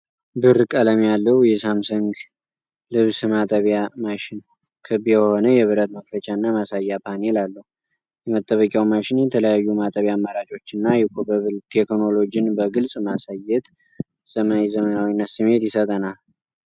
ብር ቀለም ያለው የሳምሰንግ ልብስ ማጠቢያ ማሽን፣ ክብ የሆነ የብረት መክፈቻና ማሳያ ፓኔል አለው። የማጠቢያው ማሽን የተለያዩ የማጠቢያ አማራጮችን እና Eco Bubble ቴክኖሎጂን በግልጽ በማሳየት፣ የዘመናዊነት ስሜት ይሰጠናል።